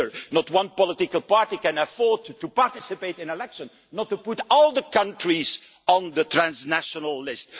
No political party can afford to participate in elections without putting all the countries on the transnational list.